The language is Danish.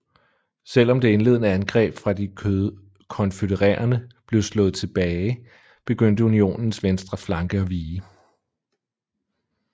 Selv om det indledende angreb fra de konfødererede blev slået tilbage begyndte Unionens venstre flanke at vige